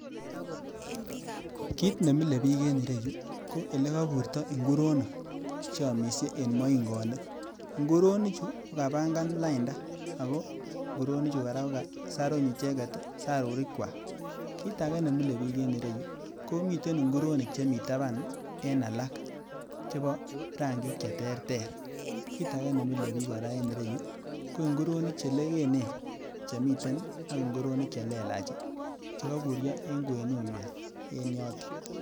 Kit nemile biik en yu ko ele koburto nguronik che omishe en moingonik, nguronichu kokapangan lainda ago nguronichu koraa ko kasaruny sarurikwak. Kit agee nemile biik en ireyu komiten nguronik chemii taban en alak chebo rangik che ter ter. KIt age nemile bik koraa en yuu ko nguronik che lekenen chemiten ak nguronik che lelach che koburyo en kwenunywan en yoton